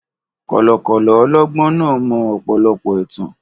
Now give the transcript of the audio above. Kọ̀lọ̀kọ̀lọ̀ ọlọ́gbọ́n náà mọ ọ̀pọ̀lọpọ̀ ẹ̀tàn.